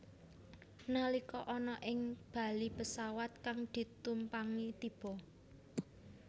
Nalika ana ing bali pesawat kang ditumpangi tiba